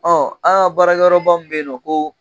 Ɔ an ka baarakɛyɔrɔba min bɛ yen nɔ ko